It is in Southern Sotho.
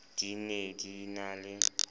di ne di na le